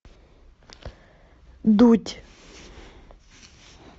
дудь